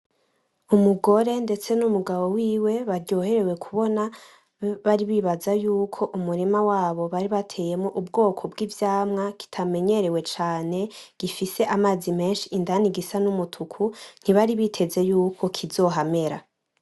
Umugore ndetse n'umugabo wiwe baryoherewe kubona bari bibaza yuko umurima wabo bari bateyemwo ubwoko bw'ivyamwa kitamenyerewe cane gifise amazi menshi indani gisa n'umutuku, ntibari biteze yuko kizohamera.